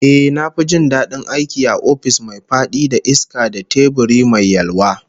Ehh, na fi jin dadin aiki a ofis mai fadi da iska da teburi mai yalwa